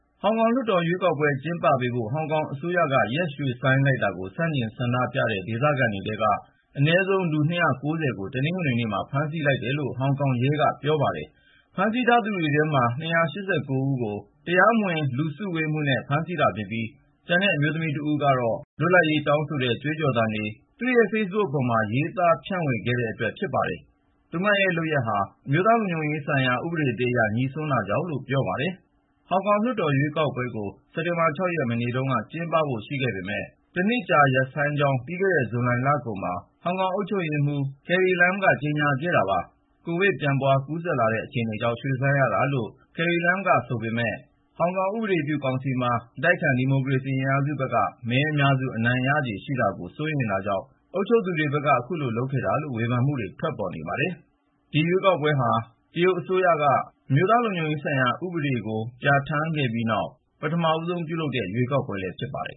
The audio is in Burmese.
ဟောင်ကောင်လွှတ်တော် ရွေးကောက်ပွဲတွေ ကျင်းပပေးဖို့ ဟောင်ကောင်အစိုးရက ရွှေ့ဆိုင်းလိုက်တာကို ဆန့်ကျင် ဆန္ဒပြခဲ့ကြတဲ့ ဒေသခံတွေထဲက အနည်းဆုံး လူ ၂၉၀ ကို တနင်္ဂနွေနေ့မှာ ဖမ်းဆီးလိုက်တယ်လို့ ဟောင်ကောင်ရဲက ပြောပါတယ်။ ဖမ်းဆီးထားသူတွေထဲမှာ ၂၈၉ ဦးကို တရားမဝင် လူစုဝေးမှုနဲ့ ဖမ်းဆီးတာဖြစ်ပြီး ကျန်တဲ့ အမျိုးသမီး ၁ ဦးကိုတော့ လွတ်လပ်ရေးတောင်းဆိုတဲ့ ကြွေးကြော်သံတွေနဲ့ ဆန့်ကျင်စော်ကားတဲ့အတွက် ဖမ်းဆီးခဲ့တာလို့ ရဲက အကြောင်းပြချက် ပေးပါတယ်။ သူမရဲ့လုပ်ရပ်ဟာ အမျိုးသားလုံခြုံရေးဆိုင်ရာ ဥပဒေသစ်အရ ငြိစွန်းတာကြောင့်လို့လည်း ပြောပါတယ်။ ဟောင်ကောင်လွှတ်တော် ရွေးကောက်ပွဲကို စက်တင်ဘာ ၆ ရက် မနေ့တုန်းက ကျင်းပဖို့ ရှိခဲ့ပေမယ့် တနှစ်ကြာ ရပ်ဆိုင်းကြောင်း ပြီးခဲ့တဲ့ ဇူလိုင်လကုန်မှာ ဟောင်ကောင်အုပ်ချုပ်ရေးမှူး Carrie Lam က ကြေညာခဲ့ပါတယ်။ ကိုဗစ် ပြန့်ပွားကူးစက်လာနေတဲ့ အခြေအနေကြောင့် ရွှေ့ဆိုင်းရတာလို့ Carrie Lam ဘက်က ပြောနေပေမယ့် ဟောင်ကောင်ဥပဒေပြုကောင်စီမှာ အတိုက်အခံ ဒီမိုကရေစီ အင်အားစုဘက်က မဲအများစု အနိုင်ရခြေရှိတာကို စိုးရိမ်တာကြောင့် အခုလိုလုပ်တာဆိုတဲ့ ဝေဖန်မှုတွေလည်း ထွက်ပေါ်နေပါတယ်။ ဒီရွေးကောက်ပွဲဟာ တရုတ်အစိုးရက ဟောင်ကောင်အတိုက်အခံတွေကို ဖယ်ရှားဖို့ ရည်ရွယ်ထားတဲ့ အမျိုးသားလုံခြုံရေးဥပဒေကို ဇွန်လနှောင်းပိုင်း ပြဋ္ဌာန်းခဲ့ပြီးနောက် ပထမဆုံးလုပ်မယ့် ရွေးကောက်ပွဲလည်း ဖြစ်ပါတယ်